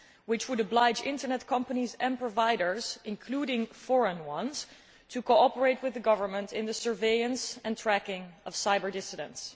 This decree would oblige internet companies and providers, including foreign ones, to cooperate with the government in the surveillance and tracking of cyber dissidents.